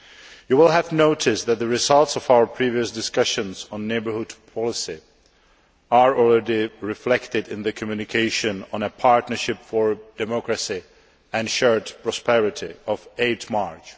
You will have noticed that the results of our previous discussions on Neighbourhood Policy are already reflected in the communication on a partnership for democracy and shared prosperity of 8 March.